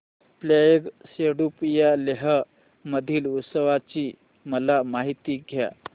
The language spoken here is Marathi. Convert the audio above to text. फ्यांग सेडुप या लेह मधील उत्सवाची मला माहिती द्या